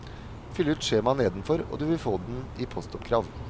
Fyll ut skjemaet nedenfor, og du vil få den i postoppkrav.